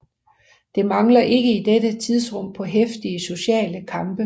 Det mangler ikke i dette tidsrum på heftige sociale kampe